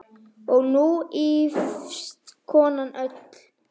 Og nú ýfist konan öll.